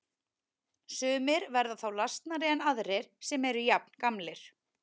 Sumir verða þá lasnari en aðrir sem eru jafngamlir.